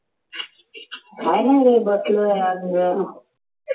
काही नाही रे बसलो आहे